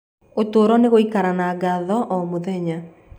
Ũtũũro nĩ gũikara na ngatho o mũthenya.